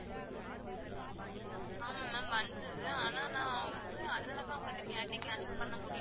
ஆமா ma'am வந்தது அனா நான் அதனால தான் உங்ககிட்ட கேட்டன் cancel பண்ண முடியுமா